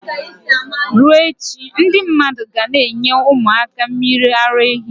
Ruo echi, ndi mmadu ga n' enye umu aka mmiri ara ehi